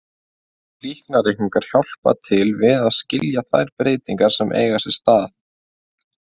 Líkanreikningar hjálpa til við að skilja þær breytingar sem eiga sér stað.